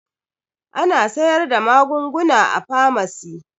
Ana sayar da magunguna a famasi